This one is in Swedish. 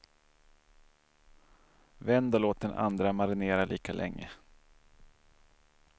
Vänd och låt den andra marinera lika länge.